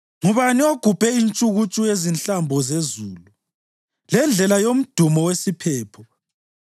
Ngubani ogubhe intshukuntshu yezihlambo zezulu, lendlela yomdumo wesiphepho;